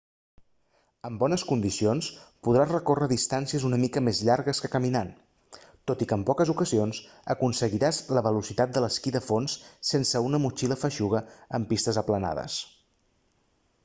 en bones condicions podràs recórrer distàncies una mica més llargues que caminant tot i que en poques ocasions aconseguiràs la velocitat de l'esquí de fons sense una motxilla feixuga en pistes aplanades